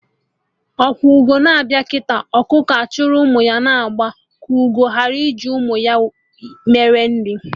Ọkwa ugo na-abịa kịta, ọkụkọ achịrị ụmụ ya na agba ka ugo ghara iji ụmụ ya melu nri